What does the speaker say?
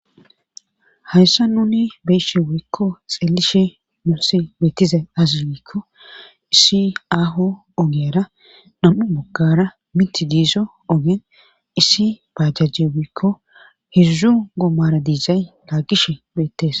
hayssa nuni beyshi wuykko xeelishe mussi beettizay azi wikko issi aho ogera nam7u mogara miti diiso ogen issi bajjajje woykko hizu gommara diizay laagishe beettes